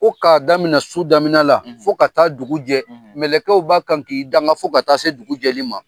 Ko k'a daminɛ su damin la fo ka taa dugu jɛ mɛlɛkɛw b'a kan k'i danga fo ka taa se dugu jɛli ma